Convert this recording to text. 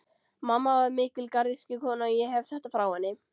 Mamma var mikil garðyrkjukona, og ég hef þetta frá henni.